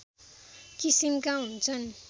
किसिमका हुन्छन्